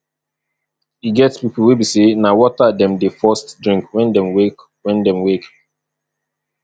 e get pipo wey be sey na water dem dey first drink when dem wake when dem wake